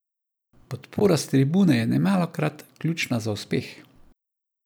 Podpora s tribune je nemalokrat ključna za uspeh.